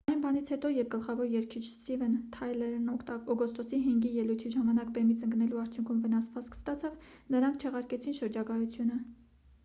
այն բանից հետո երբ գլխավոր երգիչ սթիվեն թայլերն օգոստոսի 5-ի ելույթի ժամանակ բեմից ընկնելու արդյունքում վնասվածք ստացավ նրանք չեղարկեցին շրջագայությունը